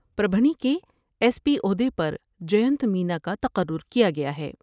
پر بھنی کے S P عہدے پر جینت مینا کا تقر ر کیا گیا ہے ۔